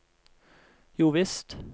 jovisst